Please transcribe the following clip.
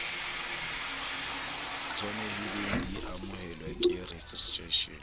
tshwanelehileng di amohelwe ke registration